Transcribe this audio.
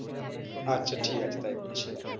আচ্ছা ঠিক আছে তাই করছি।